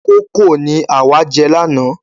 Kókò ni àwa jẹ lána.